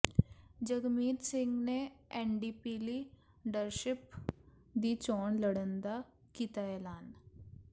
ਜਗਮੀਤ ਸਿੰਘ ਨੇ NDP leadership ਦੀ ਚੋਣ ਲੜਨ ਦਾ ਕੀਤਾਐਲਾਨ